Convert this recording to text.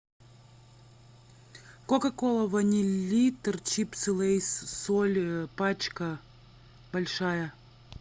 кока кола ваниль литр чипсы лейс соль пачка большая